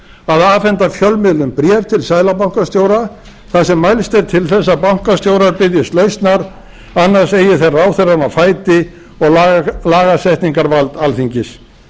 að afhenda fjölmiðlum bréf til seðlabankastjóra þar sem mælst er til þess að bankastjóranna biðjist lausnar annars eigi þeir ráðherrann á fæti og lagasetningarvald alþingis